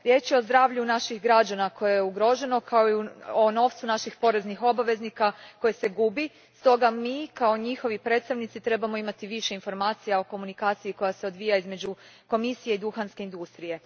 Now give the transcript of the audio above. Riječ je o zdravlju naših građana koje je ugroženo kao i novcu naših poreznih obveznika koje se gubi, stoga mi kao njihovi predstavnici trebamo imati više informacija o komunikaciji koja se odvija između Komisije i duhanske industrije.